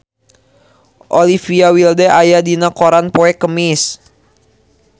Olivia Wilde aya dina koran poe Kemis